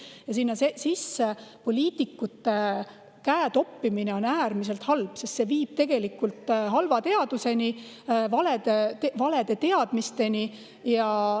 Ja kui poliitikud sinna käe topivad, on see äärmiselt halb, sest see viib tegelikult halva teaduseni, valede teadmisteni.